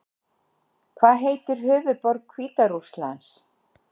Hvað heitir höfuðborg Hvíta Rússlands?